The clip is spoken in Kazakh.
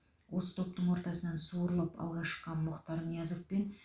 осы топтың ортасынан суырылып алға шыққан мұхтар ниязов пен